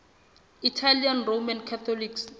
italian roman catholics